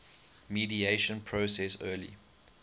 mediation process early